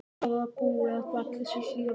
Hvað búi að baki þessu hlýja viðmóti.